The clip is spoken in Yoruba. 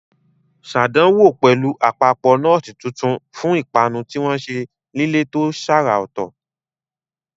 Ṣàdánwò pẹ̀lú àpapọ̀ nọ́ọ̀tì tuntun fún ìpanu tí wọ́n ṣe nílé tó ṣàrà ọ̀tọ̀.